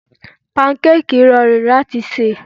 Pankákìì rọrùn láti ṣe.